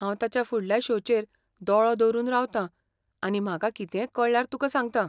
हांव ताच्या फुडल्या शो चेर दोळो दवरून रावतां आनी म्हाका कितेंय कळ्ळ्यार तुका सांगतां .